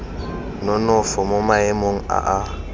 nonofo mo maemong a a